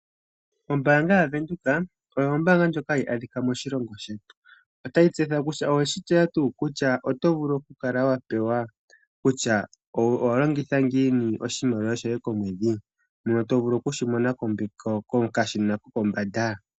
Ombaanga yaWindhoek oyo ombaanga ndjoka hayi adhika moshilongo shetu. Otayi tseyitha kutya oweshi tseya tuu kutya otovulu okukala watseya kutya owalongitha ngiini oshimaliwa shoye komwedhi, ano to vulu okukala weshi mona kokashina kokombanda.